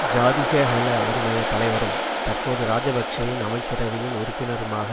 ஜாதிக ஹெல உறுமய தலைவரும் தற்போது இராஜபக்ஷவின் அமைச்சரவையின் உறுப்பினருமாக